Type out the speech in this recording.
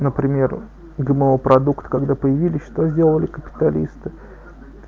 например гмо продукты когда появились что сделали капиталисты